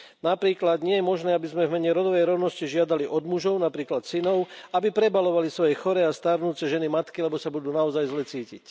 Napríklad, nie je možné aby sme v mene rodovej rovnosti žiadali od mužov, napríklad synov, aby prebaľovali svoje choré a starnúce ženy matky, lebo sa budú naozaj zle cítiť.